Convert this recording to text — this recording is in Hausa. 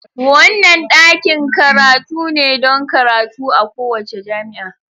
Wannan ɗakin karatu ne don karatu a kowace jami'a.